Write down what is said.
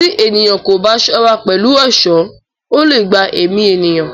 Tí ènìyàn kò bá ṣọ́ra pẹ̀lú èṣọ́, ó leè gba èmí ènìyàn